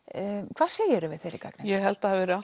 hvað segir þú við þeirri gagnrýni ég held það hafi verið